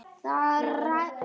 Ég er að gera það.